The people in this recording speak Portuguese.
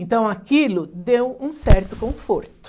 Então aquilo deu um certo conforto.